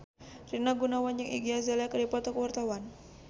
Rina Gunawan jeung Iggy Azalea keur dipoto ku wartawan